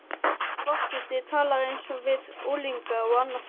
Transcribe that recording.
Forseti talar eins við unglinga og annað fólk.